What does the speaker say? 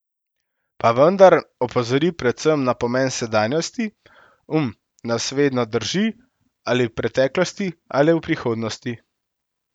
Pa vendar opozori predvsem na pomen sedanjosti: "Um nas vedno drži ali v preteklosti ali v prihodnosti.